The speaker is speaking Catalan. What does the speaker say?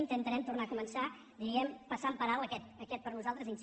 intentarem tornar a començar diríem passant per alt aquest per nosaltres incident